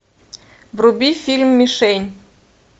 вруби фильм мишень